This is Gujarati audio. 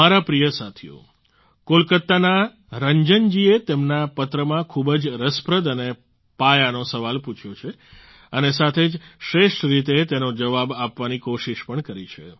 મારા પ્રિય સાથીઓ કોલકાતાના રંજન જીએ તેમના પત્રમાં ખૂબ જ રસપ્રદ અને પાયાનો સવાલ પૂછ્યો છે અને સાથે જ શ્રેષ્ઠ રીતે તેનો જવાબ આપવાની કોશિશ પણ કરી છે